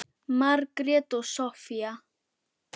Margrét og Soffía.